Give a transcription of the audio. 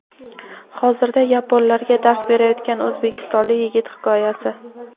hozirda yaponlarga dars berayotgan o‘zbekistonlik yigit hikoyasi.